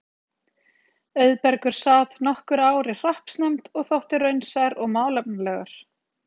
Auðbergur sat nokkur ár í hreppsnefnd og þótti raunsær og málefnalegur.